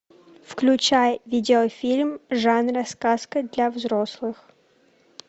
включай видеофильм жанра сказка для взрослых